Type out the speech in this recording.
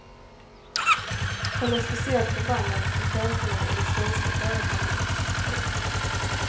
Han är speciellt förbannad på cheferna i de svenska företagen. punkt